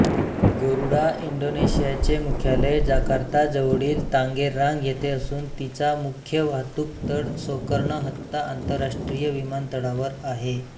गरुडा इंडोनेशियाचे मुख्यालय जाकार्ताजवळील तांगेरांग येथे असून तिचा मुख्य वाहतूकतळ सोकर्णोहत्ता आंतरराष्ट्रीय विमानतळावर आहे